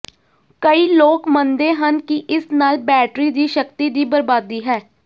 ਕਈ ਲੋਕ ਮੰਨਦੇ ਹਨ ਕਿ ਇਸ ਨਾਲ ਬੈਟਰੀ ਦੀ ਸ਼ਕਤੀ ਦੀ ਬਰਬਾਦੀ ਹੈ